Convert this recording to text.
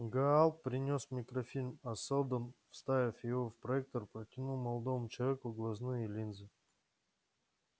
гаал принёс микрофильм а сэлдон вставив его в проектор протянул молодому человеку глазные линзы